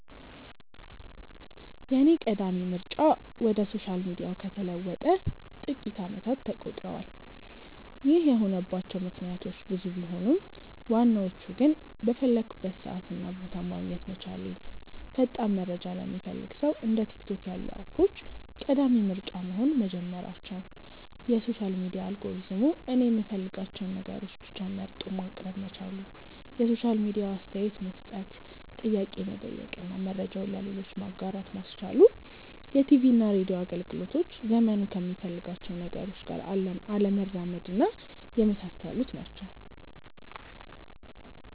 የኔ ቀዳሚ ምርጫ ወደ ሶሻል ሚዲያው ከተለወጠ ጥቂት አመታት ተቆጥረዋል። ይህ የሆነባቸው ምክንያቶች ብዙ ቢሆኑም ዋናዎቹ ግን:- በፈለኩበት ሰዓት እና ቦታ ማግኘት መቻሌ፣ ፈጣን መረጃ ለሚፈልግ ሰው እንደ ቲክቶክ ያሉ አፖች ቀዳሚ ምርጫ መሆን መጀመራቸው፣ የሶሻል ሚዲያ አልጎሪዝሙ እኔ የምፈልጋቸውን ነገሮች ብቻ መርጦ ማቅረብ መቻሉ፣ የሶሻል ሚዲያው አስተያየት መስጠት፣ ጥያቄ መጠየቅ እና መረጃውን ለሌሎች ማጋራት ማስቻሉ፣ የቲቪና ሬድዮ አገልግሎቶች ዘመኑ ከሚፈልጋቸው ነገሮች ጋር አለመራመድና የመሳሰሉት ናቸው።